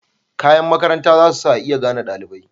Kayan makaranta zasu sa a iya gane dalibai.